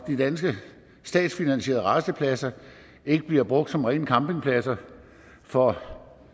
de danske statsfinansierede rastepladser ikke bliver brugt som rene campingpladser for